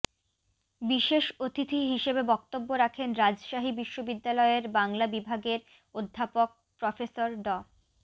বিশেষ অতিথি হিসেবে বক্তব্য রাখেন রাজশাহী বিশ্ববিদ্যালয় এর বাংলা বিভাগের অধ্যাপক প্রফেসর ড